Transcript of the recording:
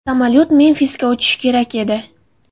Samolyot Memfisga uchishi kerak edi.